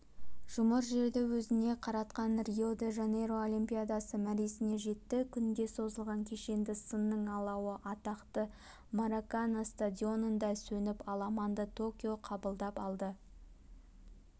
жұмыр жерді өзіне қаратқан рио-де-жанейро олимпиадасы мәресіне жетті күнге созылған кешенді сынның алауы атақты маракана стадионында сөніп аламанды токио қабылдап алды